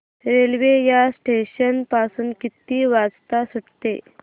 railway या station पासून किती वाजता सुटते